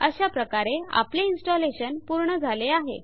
अशाप्रकारे आपले इन्स्टलेशन पूर्ण झाले आहे